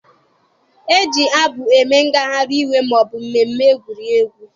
E ji abụ eme ngagharị iwe, maọbụ mmemme egwuregwu